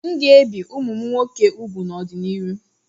M'gēbì kwa umum nwoke úgwù n'ọdi-n'iru.